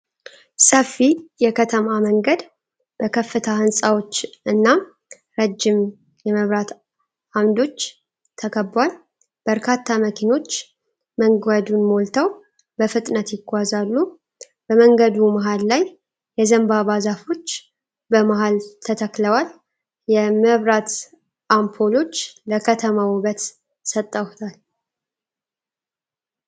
ሰፊ የከተማ መንገድ በከፍታ ሕንፃዎች እና ረጅም የመብራት ዓምዶች ተከቧል። በርካታ መኪኖች መንገዱን ሞልተው በፍጥነት ይጓዛሉ። በመንገዱ መሃል ላይ የዘንባባ ዛፎች በመሃል ተተክለዋል። የምብራት አምፖሎች ለከተማው ውበት ሰጠውታል፡፡